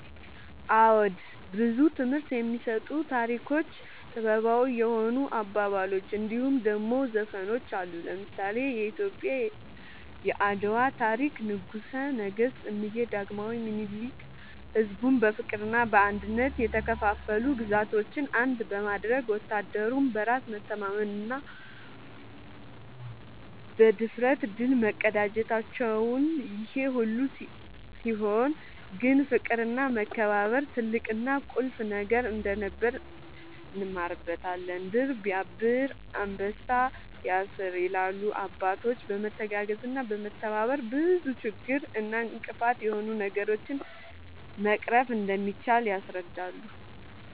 አወ ብዙ ትምህርት የሚሰጡ ታሪኮች ጥበባዊ የሆኑ አባባሎች እንድሁም ደሞ ዘፈኖች አሉ። ለምሳሌ :-የኢትዮጵያ የአድዋ ታሪክ ንጉሰ ነገስት እምዬ ዳግማዊ ምኒልክ ሕዝቡን በፍቅርና በአንድነት የተከፋፈሉ ግዛቶችን አንድ በማድረግ ወታደሩም በራስ መተማመንና ብድፍረት ድል መቀዳጀታቸውን ይሄ ሁሉ ሲሆን ግን ፍቅርና መከባበር ትልቅና ቁልፍ ነገር እንደነበር እንማርበታለን # "ድር ስያብር አንበሳ ያስር" ይላሉ አባቶች በመተጋገዝና በመተባበር ብዙ ችግር እና እንቅፋት የሆኑ ነገሮችን መቅረፍ እንደሚቻል ያስረዳሉ